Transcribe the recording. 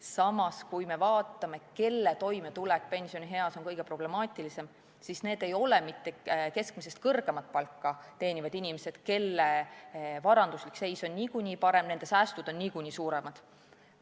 Samas, kui me vaatame, kelle toimetulek pensionieas on kõige problemaatilisem, siis need ei ole mitte keskmisest kõrgemat palka teenivad inimesed, kelle varanduslik seis on nagunii parem, sest säästud on niikuinii suuremad.